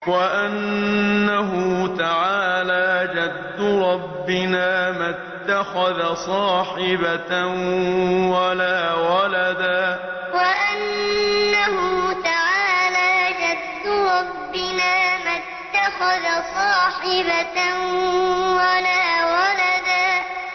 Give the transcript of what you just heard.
وَأَنَّهُ تَعَالَىٰ جَدُّ رَبِّنَا مَا اتَّخَذَ صَاحِبَةً وَلَا وَلَدًا وَأَنَّهُ تَعَالَىٰ جَدُّ رَبِّنَا مَا اتَّخَذَ صَاحِبَةً وَلَا وَلَدًا